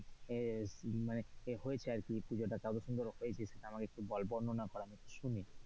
এ এ মানে হয়েছে আর কি পুজোটা কত সুন্দর হয়েছে সেটা একটু বর্ণনা কর আমি একটু শুনি।